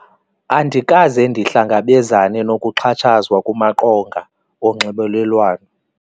Andikaze ndihlangabezane nokuxhatshazwa kumaqonga wonxibelelwano.